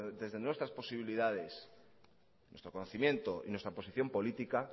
desde nuestras posibilidades nuestro conocimiento y nuestra posición política